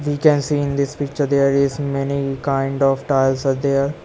We can see in this picture there is many kind of tiles are there.